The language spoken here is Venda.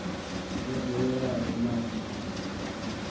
yo ḓoweleaho na u notha